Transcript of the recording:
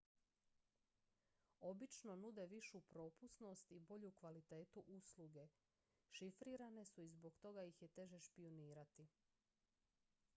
obično nude višu propusnost i bolju kvalitetu usluge šifrirane su i zbog toga ih je teže špijunirati